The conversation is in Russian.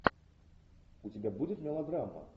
у тебя будет мелодрама